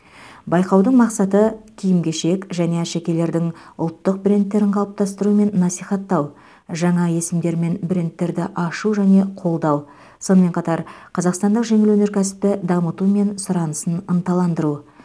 байқаудың мақсаты киім кешек және әшекейлердің ұлттық брендтерін қалыптастыру мен насихаттау жаңа есімдер мен брендтерді ашу және қолдау сонымен қатар қазақстандық жеңіл өнеркәсіпті дамыту мен сұранысын ынталандыру